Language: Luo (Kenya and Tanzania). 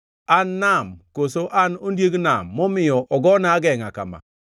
An nam, koso an ondiek nam momiyo ogona agengʼa kama?